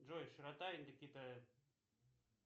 джой широта индокитая